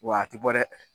Wa a ti bɔ dɛ